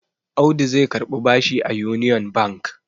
Audu zai karbi bashi a Union Bank.